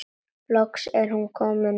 Loks er hún komin upp.